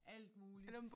Alt muligt